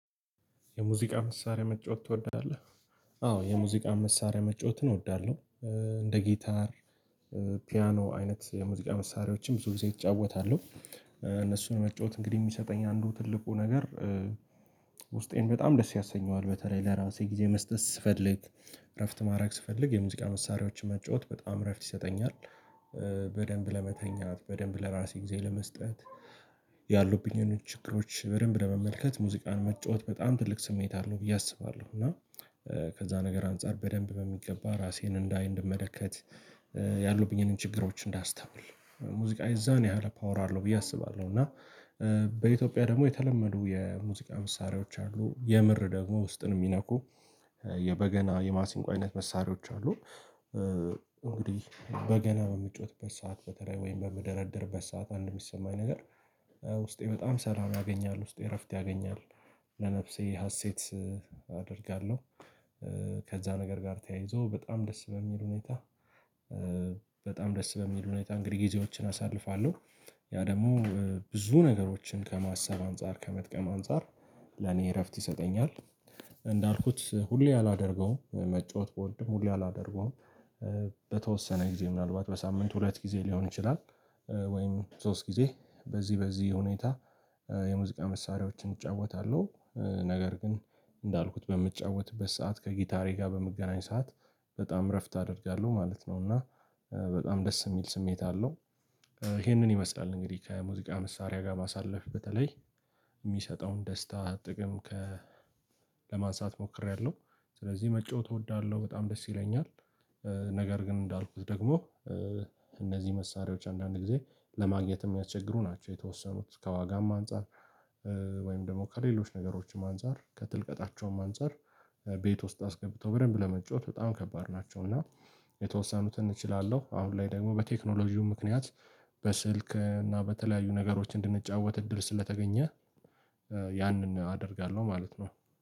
የሙዚቃ መሳሪያ መጫወት ትወዳለህ? አዎ የሙዚቃ መሳሪያ መጫወትን እወዳለሁ እንደ ጊታር ፒያኖ አይነት የሙዚቃ መሳሪያዎችም ብዙ ብዙ እጫወታለሁ እነሱን መጫወት እንግዲህ የሚሰጠኝ አንዱ ትልቁ ነገር ውስጤን በጣም ደስ ያሰኘዋል በተለይ ለራሴ ጊዜ መስጠት ስፈልግ እረፍት ማድረግ ስፈልግ፤ የሙዚቃ መሳሪያዎችን መጫወት በጣም እረፍት ይሰጠኛል በደንብ ለመተኛት በደንብ ለራሴ ጊዜ ለመስጠት ያሉብኝን ችግሮች በደንብ ለመመልከት ሙዚቃን መጫወት በጣም ትልቅ ስሜት አለው ብዬ አስባለሁ እና ከዛ ነገር አንፃር በደንብ በሚገባ ራሴን እንዳይ እንድመለከት ያሉብኝን ችግሮች እንዳስተምር ሙዚቃ የዛን ያህል ፓወር አለው ብዬ አስባለሁ እና በኢትዮጵያ ደግሞ የተለመዱ የሙዚቃ መሳሪያዎች አሉ የምር ደግሞ ውስጥን የሚነኩ የበገና የማሲንቆ አይነት መሳሪያዎች አሉ እንግዲህ በገና በምጫወትበት ሰዓት በተለይ ወይም በምደረደርበት ሰዓት አንድ የሚሰማኝ ነገር ውስጤ በጣም ሰላም ያገኛል ውስጤ እረፍት ያገኛል ለነፍሴ ሀሴት አደርጋለሁ፤ ከዛ ነገር ጋር ተያይዞ በጣም ደስ በሚል ሁኔታ በጣም ደስ በሚል ሁኔታ እንግዲህ ጊዜዎችን አሳልፋለሁ፤ ያ ደግሞ ብዙ ነገሮችን ከማሰብ አንፃር ከመጥቀም አንፃር ለኔ እረፍት ይሰጠኛል፤ እንዳልኩት ሁሌ አላደርገውም መጫወት ብወድም ሁሌ አላደርገውም በተወሰነ ጊዜ ምናልባት በሳምንት ሁለት ጊዜ ሊሆን ይችላል ወይም ሶስት ጊዜ በዚህ በዚህ ሁኔታ የሙዚቃ መሳሪያዎችን እጫወታለሁ ነገር ግን እንዳልኩት በምትጫወትበት ሰዓት ከጊታሬ ጋር በመገናኝ ሰዓት በጣም እረፍት አደርጋለሁ ማለት ነው እና በጣም ደስ የሚል ስሜት አለው ይሄንን ይመስላል እንግዲህ ከሙዚቃ መሳሪያ ጋር ማሳለፍ በተለይ የሚሰጠውን ደስታ ጥቅም ለማንሳት ሞክሬያለሁ ስለዚህ መጫወት እወዳለሁ በጣም ደስ ይለኛል፤ ነገር ግን እንዳልኩት ደግሞ እነዚህ መሳሪያዎች አንዳንድ ጊዜ ለማግኘት የሚያቸግሩ ናቸው የተወሰኑት ከዋጋም አንፃር ወይም ደግሞ ከሌሎች ነገሮችም አንፃር ከጥልቀታቸውም አንፃር ቤት ውስጥ አስገብተው በደንብ ለመጫወት በጣም ከባድ ናቸው እና የተወሰኑትን እችላለሁ አሁን ላይ ደግሞ በቴክኖሎጂው ምክንያት በስልክ እና በተለያዩ ነገሮች እንድንጫወት እድል ስለተገኘ ያንን አደርጋለሁ ማለት ነው።